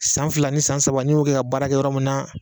San fila ni san saba n'i y'o kɛ ka baara kɛ yɔrɔ min na